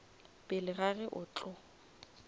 pele ga ge a tlo